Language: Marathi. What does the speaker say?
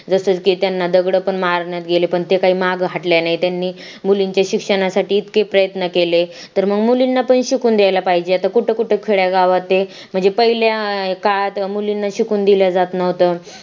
जसं की त्यांना दगड पण मारण्यात गेले पण ते काही मागल्या हट्टल्या नाही त्यांनी मुलींचे शिक्षणासाठी इतके प्रयत्न केले तर मग मुलींना पण शिकून द्यायला पाहिजे आता कुठे कुठे खेड्या गावात ते म्हणजे पहिल्या काळात मुलींना शिकून दिले जातं न्हवत